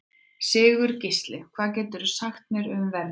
Sigurgísli, hvað geturðu sagt mér um veðrið?